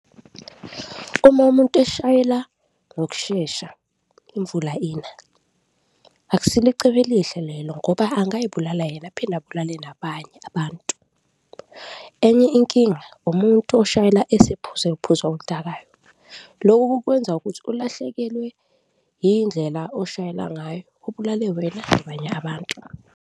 Uma umuntu eshayela ngokushesha imvula ina, akusilo icebo elihle lelo ngoba angazibulala yena aphinde abulale nabanye abantu. Enye inkinga umuntu oshayela esephuze uphuzo oludakayo, loku kukwenza ukuthi ulahlekelwe indlela oshayela ngayo ubulale wena nabanye abantu.